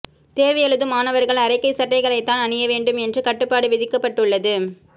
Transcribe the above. தேர்வு எழுதும் மாணவர்கள் அரைக்கை சட்டைகளைத்தான் அணிய வேண்டும் என்று கட்டுப்பாடு விதிக்கப்பட்டுள்ளது